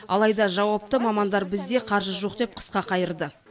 алайда жауапты мамандар бізде қаржы жоқ деп қысқа қайырды